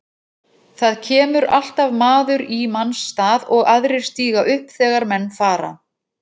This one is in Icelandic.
Það kemur alltaf maður í manns stað og aðrir stíga upp þegar menn fara.